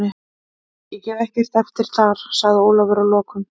Ég gef ekkert eftir þar, sagði Ólafur að lokum.